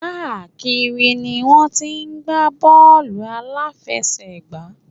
Káàkiri ni wọ́n ti ń gbá bọ́ọ̀lù àláfẹsẹ̀gbá.